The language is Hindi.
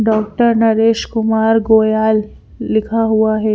डॉक्टर नरेश कुमार गोयल लिखा हुआ है।